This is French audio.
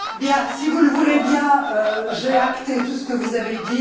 Si vous le voulez bien, j'ai acté tout ce que vous avez dit.